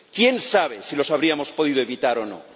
Quién sabe si los habríamos podido evitar o no.